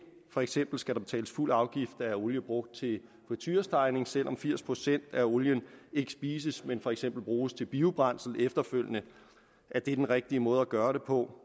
for eksempel skal der betales fuld afgift af olie brugt til friturestegning selv om firs procent af olien ikke spises men for eksempel bruges til biobrændsel efterfølgende er det den rigtige måde at gøre det på